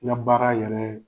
Ŋa baara yɛrɛ